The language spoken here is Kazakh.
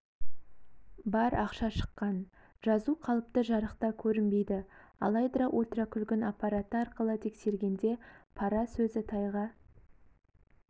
бар ақша шыққан жазу қалыпты жарықта көрінбейді алайда ультракүлгін аппараты арқылы тексергенде пара сөзі тайға